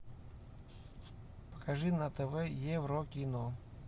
покажи на тв еврокино